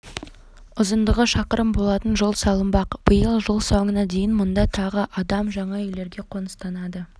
ұзындығы шақырым болатын жол салынбақ биыл жыл соңына дейін мұнда тағы адам жаңа үйлерге қоныстанады